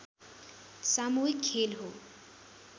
सामूहिक खेल हो